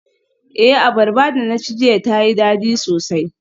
Eh, abarba da na ci jiya tayi dadi sosai.